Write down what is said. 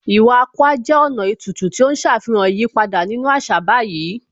Iwa Akwa jẹ́ ọ̀nà ètùtù tí ó ń ṣàfihàn ìyípadà nínú àṣà báyìí